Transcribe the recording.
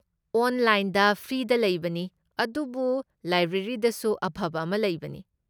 ꯑꯣꯟꯂꯥꯏꯟꯗ ꯐ꯭ꯔꯤꯒꯤꯗ ꯂꯩꯕꯅꯤ, ꯑꯗꯨꯕꯨ ꯂꯥꯏꯕ꯭ꯔꯦꯔꯤꯗꯁꯨ ꯑꯐꯕ ꯑꯃ ꯂꯩꯕꯅꯤ꯫